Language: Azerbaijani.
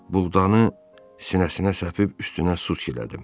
Buğdanı sinəsinə səpib üstünə su çilədim.